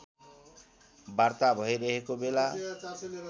वार्ता भइरहेको बेला